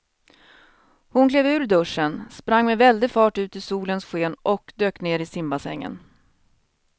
Hon klev ur duschen, sprang med väldig fart ut i solens sken och dök ner i simbassängen.